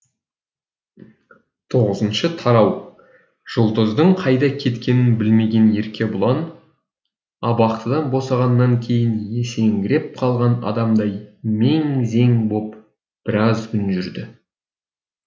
тоғызыншы тарау жұлдыздың қайда кеткенін білмеген еркебұлан абақтыдан босанғаннан кейін есеңгіреп қалған адамдай мең зең боп біраз күн жүрді